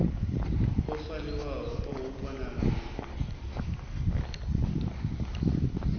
o fariwaho o huvhala u